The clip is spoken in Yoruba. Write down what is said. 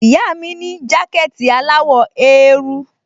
Ìyá mi ní jákẹ̀tì aláwọ̀ eérú